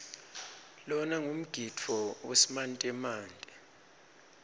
lona ngumgidvo wesimantemante